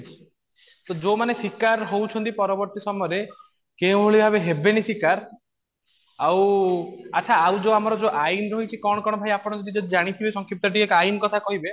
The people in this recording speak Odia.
ଯୋଉ ମାନେ ଶିକାର ହଉଛନ୍ତି ପରବର୍ତ୍ତୀ ସମୟରେ କେଉଁ ଭଳି ଭାବେ ହେବେନି ଶିକାର ଆଉ ଆଛା ଆଉ ଯୋଉ ଆମର ଯୋଉ ଆଇନ ରହିଛି କଣ କଣ ଭାଇ ଆପଣ ବି ଯଦି ଜାଣିଥିବେ ସଂକ୍ଷିପ୍ତ ଟିକେ ଆଇନ କଥା କହିବେ